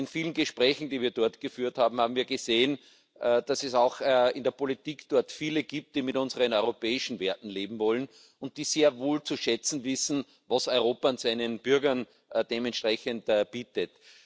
In vielen Gesprächen, die wir dort geführt haben, haben wir gesehen, dass es auch in der Politik dort viele gibt, die mit unseren europäischen Werten leben wollen und die sehr wohl zu schätzen wissen, was Europa seinen Bürgern dementsprechend bietet.